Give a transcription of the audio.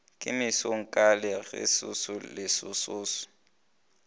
ke mesong ka galesoso lesoso